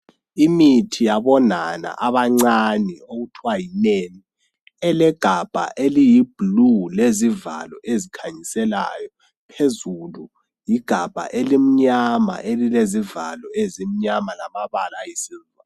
Imithi yabonaba abancane okuthiwa yinan elegabha eliyiblue lezivalo ezikhanyisileyo phezulu ligabha elimnyama elilezivalo ezimnyama lamabala ayisilver.